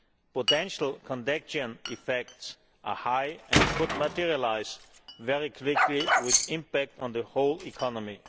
Potential contagion effects are high and could materialise very quickly, with an impact on the whole economy.